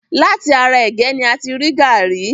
Láti ara ègé ni a ti rí gàrí.